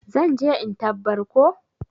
zan je in tabbar ko?